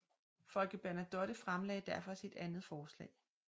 Folke Bernadotte fremlagde derfor sit andet forslag